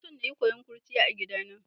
Ina son na yi kowon kurciya a gidana.